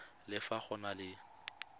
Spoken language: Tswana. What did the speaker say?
le fa go na le